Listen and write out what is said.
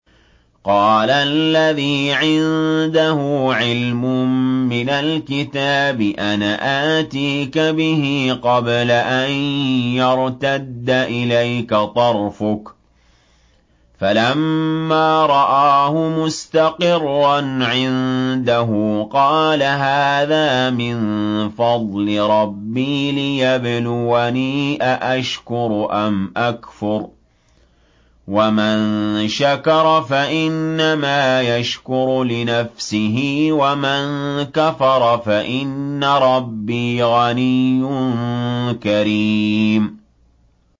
قَالَ الَّذِي عِندَهُ عِلْمٌ مِّنَ الْكِتَابِ أَنَا آتِيكَ بِهِ قَبْلَ أَن يَرْتَدَّ إِلَيْكَ طَرْفُكَ ۚ فَلَمَّا رَآهُ مُسْتَقِرًّا عِندَهُ قَالَ هَٰذَا مِن فَضْلِ رَبِّي لِيَبْلُوَنِي أَأَشْكُرُ أَمْ أَكْفُرُ ۖ وَمَن شَكَرَ فَإِنَّمَا يَشْكُرُ لِنَفْسِهِ ۖ وَمَن كَفَرَ فَإِنَّ رَبِّي غَنِيٌّ كَرِيمٌ